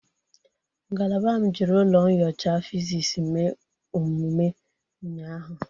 Ngalaba m jiri ụlọ nyocha fizisi mee omume ụnyaahụ.